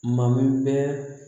Mabɛn